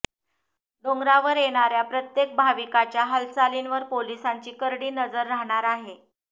डोंगरावर येणाऱ्या प्रत्येक भाविकाच्या हालचालींवर पोलिसांची करडी नजर राहणार आहे